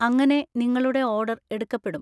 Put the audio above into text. അങ്ങനെ നിങ്ങളുടെ ഓർഡർ എടുക്കപ്പെടും.